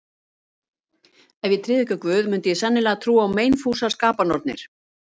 Ef ég tryði ekki á Guð, mundi ég sennilega trúa á meinfúsar skapanornir.